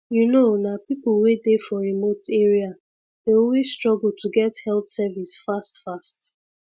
you know nah people wey dey for remote area dey always struggle to get health service fast fast